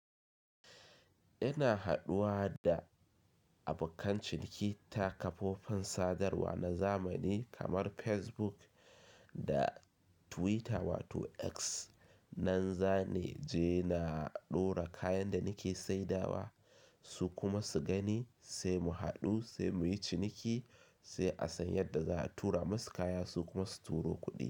Ina haɗuwa da abokan ciniki ta kafofin sadarwa na zamani kamar Facebook da Twitter wato X. Nan zane je na ɗora kayan da nake saidawa su kuma su gani sai mu haɗu sai muyi ciniki sai a san yadda za a tura musu kaya su kuma su turo kuɗi.